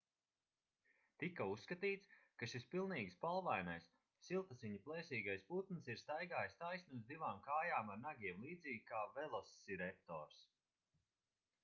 tika uzskatīts ka šis pilnīgi spalvainais siltasiņu plēsīgais putns ir staigājis taisni uz divām kājām ar nagiem līdzīgi kā velosireptors